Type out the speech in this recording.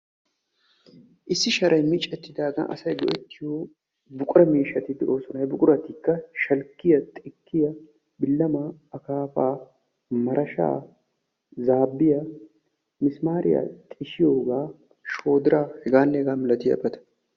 issi sharay miccetidaagan asay go'etiyo buqura miishshati de'oosona; he buquratikka shalkkiyaa; xikkiyaa, bilamma , akkaafa, marashshaa, zaabbiya, missimaariyaa xishshiyooga shoodira heganne hega malatiyaabata.